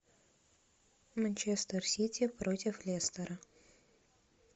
манчестер сити против лестера